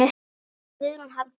Guðrún Hafdís.